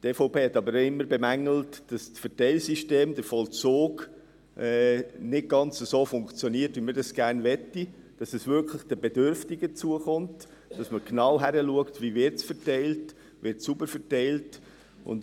Die EVP hat aber immer bemängelt, dass das Verteilsystem, der Vollzug, nicht ganz so funktioniert, wie wir das gerne hätten: dass es wirklich den Bedürftigen zukommt, dass man genau hinschaut, wie es verteilt wird, dass es sauber verteilt wird.